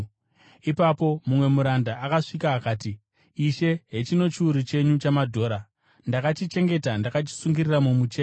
“Ipapo mumwe muranda akasvika akati, ‘Ishe, hechino chiuru chenyu chamadhora; ndakachichengeta ndakachisungirira mumucheka.